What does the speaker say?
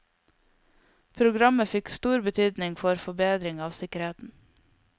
Programmet fikk stor betydning for forbedring av sikkerheten.